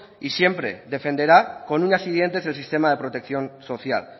y siempre defenderá con uñas y dientes el sistema de protección social